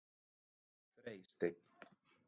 Freysteinn